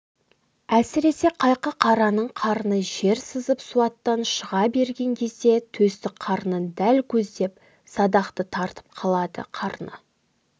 әсіресе қайқы қараның қарны жер сызып суаттан шыға берген кезде төстік қарнын дәл көздеп садақты тартып қалады қарны